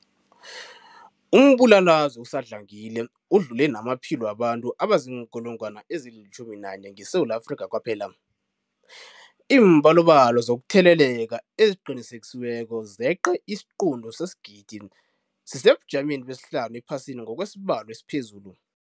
Umbulalazwe usadlangile udlule namaphilo wabantu abaziinkulungwana ezi-11 ngeSewula Afrika kwaphela. Iimbalobalo zokutheleleka eziqinisekisiweko zeqe isiquntu sesigidi, sisesebujameni besihlanu ephasini ngokwesibalo esiphezulu.